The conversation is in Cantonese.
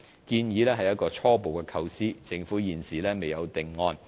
建議是一個初步構思，政府現時未有定案。